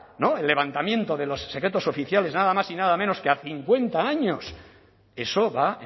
el levantamiento de los secretos oficiales nada más y nada menos que a cincuenta años eso va